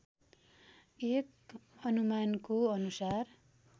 एक अनुमानको अनुसार